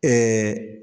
Ɛɛ